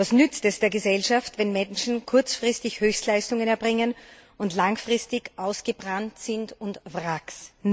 Was nützt es der Gesellschaft, wenn Menschen kurzfristig Höchstleistungen erbringen und langfristig ausgebrannt sind und Wracks?